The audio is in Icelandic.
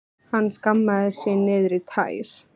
Hann skammaðist sín niður í tær.